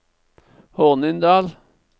Hornindal